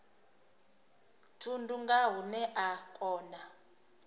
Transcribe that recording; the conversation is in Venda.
thundu nga hune a kona